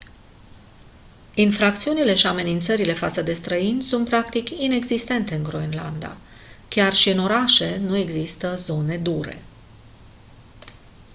infracțiunile și amenințările față de străini sunt practic inexistente în groenlanda. chiar și în orașe nu există «zone dure».